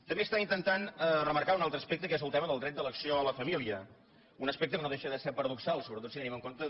també està intentant remarcar un altre aspecte que és el dret d’elecció a la família un aspecte que no deixa de ser paradoxal sobretot si tenim en compte